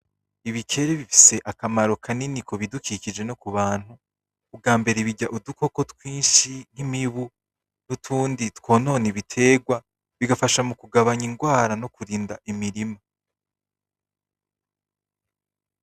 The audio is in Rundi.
Ibikere bifese akamaro kanini kubidukikije no kubantu , ubw'ambere birya udukoko twinshi nk'imibu nutundi twonona ibiterwa , bigafasha mukugabanya ingwara no kurinda imirima.